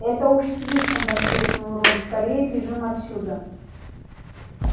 это уж слишком воскликнул рон скорее бежим отсюда